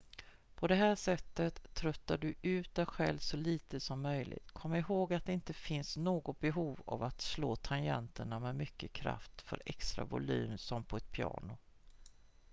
på det här sättet tröttar du ut dig själv så lite som möjligt kom ihåg att det inte finns något behov av att slå tangenterna med mycket kraft för extra volym som på ett piano